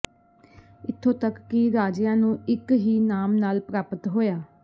ਇਥੋਂ ਤੱਕ ਕਿ ਰਾਜਿਆਂ ਨੂੰ ਇੱਕ ਹੀ ਨਾਮ ਨਾਲ ਪ੍ਰਾਪਤ ਹੋਇਆ